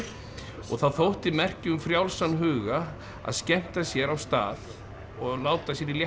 og það þótti merki um frjálsan huga að skemmta sér á stað og láta sér í léttu